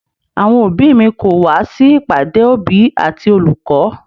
Àwọn òbí mi kò wá sí ìpàdé òbí àti olùkọ́.